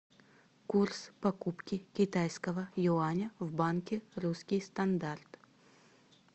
курс покупки китайского юаня в банке русский стандарт